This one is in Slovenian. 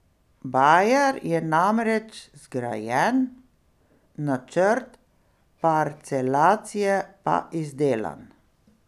Bajer je namreč zgrajen, načrt parcelacije pa izdelan.